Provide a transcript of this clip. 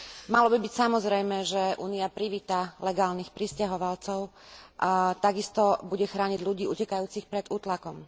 Malo by byť samozrejmé, že Únia privíta legálnych prisťahovalcov a takisto bude chrániť ľudí utekajúcich pred útlakom.